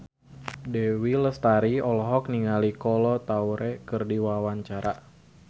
Dewi Lestari olohok ningali Kolo Taure keur diwawancara